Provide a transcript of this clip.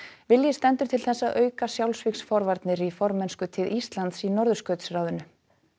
vilji stendur til þess að auka sjálfsvígsforvarnir í formennskutíð Íslands í Norðurskautsráðinu